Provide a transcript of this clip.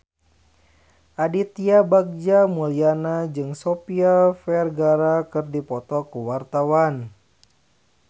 Aditya Bagja Mulyana jeung Sofia Vergara keur dipoto ku wartawan